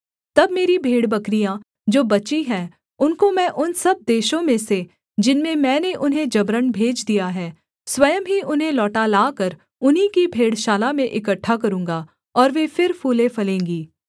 तब मेरी भेड़बकरियाँ जो बची हैं उनको मैं उन सब देशों में से जिनमें मैंने उन्हें जबरन भेज दिया है स्वयं ही उन्हें लौटा लाकर उन्हीं की भेड़शाला में इकट्ठा करूँगा और वे फिर फूलेंफलेंगी